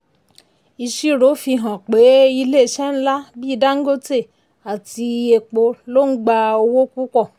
ìṣirò fihan pé ilé iṣẹ́ ńlá bí dangote àti epo ló ń gba owó púpọ̀.